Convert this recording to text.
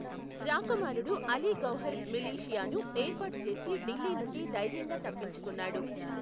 రాకుమారుడు అలీ గౌహర్ మిలీషియాను ఏర్పాటు చేసి ఢిల్లీ నుండి ధైర్యంగా తప్పించుకున్నాడు.